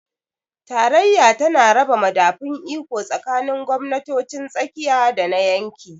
Tarayya tana raba madafun iko tsakanin gwamnatocin tsakiya da na yanki.